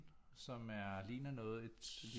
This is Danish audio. Som er ligner noget et